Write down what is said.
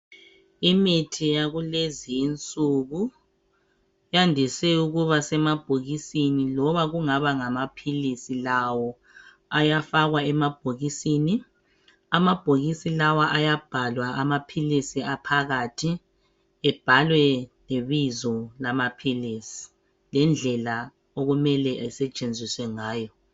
Imithi yakulezi insuku yandise ukuba semabhokisini loba kungaba lamaphilisi lawo ayafakwa emabhokisini. Amabhokisi lawa ayabhalw ibizo lamaphilisi lendlela okumele esetshenziswe ngayo.